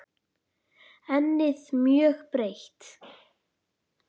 Ennið mjög breitt.